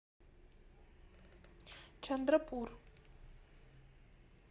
чандрапур